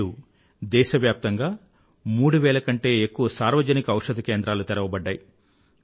నేడు దేశవ్యాప్తంగా మూడువేలకంటే ఎక్కువ సార్వజనిక ఔషధ కేంద్రాలు తెరవబడ్డాయి